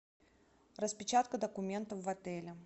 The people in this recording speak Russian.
распечатка документов в отеле